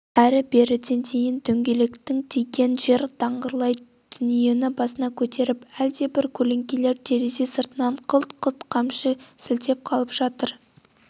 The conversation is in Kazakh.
әрі-беріден кейін дөңгелектің тиген жер даңғырлай дүниені басына көтеріп әлдебір көлеңкелер терезе сыртынан қылт-қылт қамшы сілтеп қалып жатыр